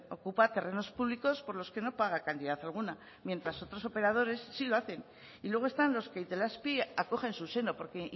ocupa terrenos públicos por los que no paga cantidad alguna mientras otros operadores sí lo hacen y luego están los que itelazpi acoge en su seno porque